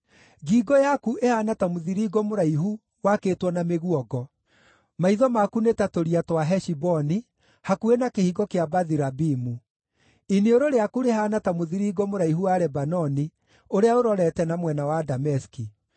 Ngingo yaku ĩhaana ta mũthiringo mũraihu wakĩtwo na mĩguongo. Maitho maku nĩ ta tũria twa Heshiboni, hakuhĩ na kĩhingo kĩa Bathi-Rabimu. Iniũrũ rĩaku rĩhaana ta mũthiringo mũraihu wa Lebanoni ũrĩa ũrorete na mwena wa Dameski.